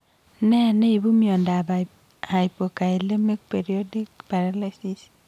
Nee neipu miondap hypokalemic periodic paralysis?